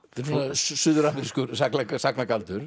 suður amerískur